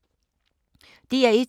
DR1